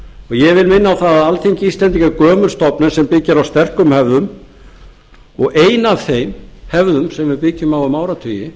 vil minna á að alþingi íslendinga er gömul stofnun sem byggir á sterkum hefðum og ein af þeim hefðum sem við byggjum á um áratugi